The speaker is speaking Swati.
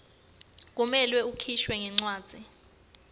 kumele ukhishwe ngencwadzi